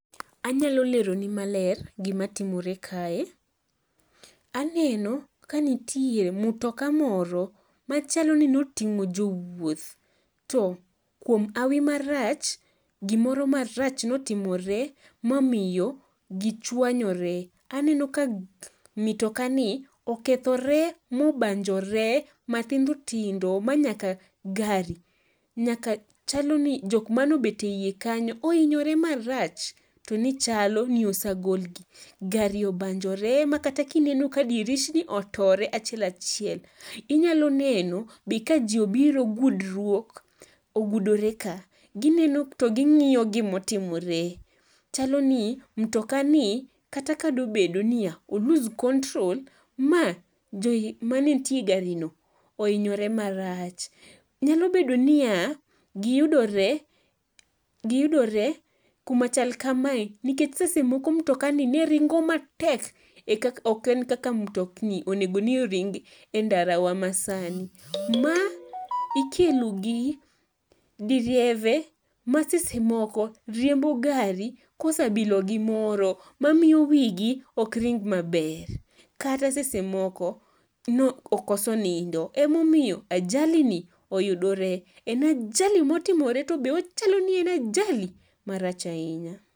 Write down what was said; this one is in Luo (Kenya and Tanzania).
Anyalo leroni maler gimatimore kae, aneno kanitie mutoka moro machalo ni noting'o jowuoth to kuom hawi marach gimoro marach notimore momiyo gichwanyore. Aneno ka mitokani okethore mobanjore mathindotindo ma nyaka gari nyaka chalo ni jokma nobet e i kanyo oinyore marach to ni chalo ni osagolgi, gari obanjore ma kata kineno ka dirishni otore achiel achiel. Inyalo neno be ka ji obiro gudruok ogudore ka. Gineno to ging'iyo gimotimore, chalo ni mtokani kata ka nobed niya o loose control ma joma ne nitie e garino ohinyore marach. Nyalo bedo niya, giyudore kumachal kamae nikech sese moko mtokani ne ringo matek ok en kaka mtokni onego ni ringi e ndarawa masani. Ma ikelo gi direve masese moko riembo gari kosebilo gimoro mamiyo wigi okring maber kata sese moko nokoso nindo emomiyo ajalini oyudore. En ajali motimore to be ochalo ni en ajali marach ahinya.